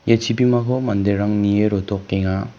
ia chibimako manderang nie rotokenga.